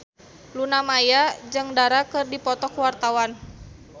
Luna Maya jeung Dara keur dipoto ku wartawan